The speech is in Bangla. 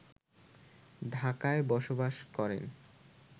ঢাকায় বসবাস করেন